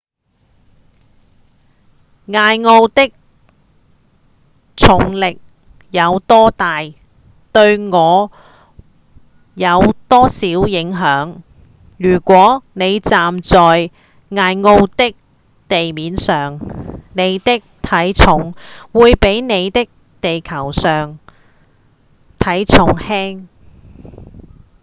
艾奧的重力有多大對我有多少影響？如果您站在艾奧的地面上您的體重會比您在地球上的體重輕